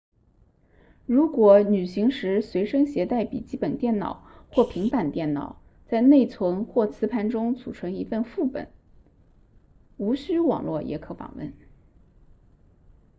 如果旅行时随身携带笔记本电脑或平板电脑在内存或磁盘中存储一份副本无需网络也可访问